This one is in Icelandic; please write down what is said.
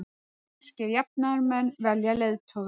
Sænskir jafnaðarmenn velja leiðtoga